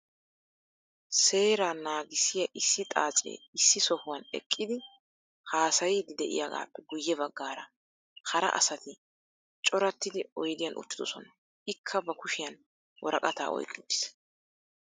Seeraa naagissiya issi xaacee issi sohuwan eqqidi haasayiiddi de'iyagaappe guyye baggaara hara asati corattidi oydiyan uttidosona. Ikka ba kushiyan woraqataa oyqqi uttiis.